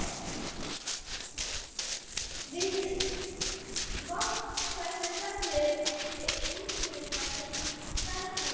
Við vatnshveri fellur út kísilsýra sem hverahrúður.